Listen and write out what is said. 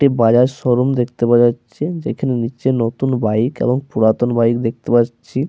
একটি বাজাজ শোরুম দেখতে পাওয়া যাচ্ছে যেখানে নিচে নতুন বাইক এবং পুরাতন বাইক দেখতে পাচ্ছি।